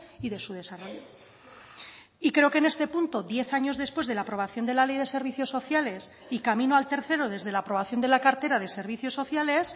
y de su desarrollo y creo que en este punto diez años después de la aprobación de la ley de servicios sociales y camino al tercero desde la aprobación de la cartera de servicios sociales